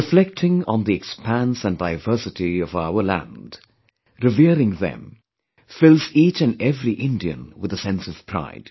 Reflecting on the expanse & diversity of our land, revering them fills each & every Indian with a sense of pride